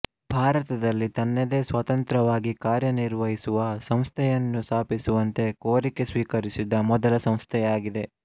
ಭಾರತದಲ್ಲಿ ತನ್ನದೇ ಸ್ವತಂತ್ರವಾಗಿ ಕಾರ್ಯನಿರ್ವಹಿಸುವ ಸಂಸ್ಥೆಯನ್ನು ಸ್ಥಾಪಿಸುವಂತೆ ಕೋರಿಕೆ ಸ್ವೀಕರಿಸಿದ ಮೊದಲ ಸಂಸ್ಥೆಯಾಗಿದೆ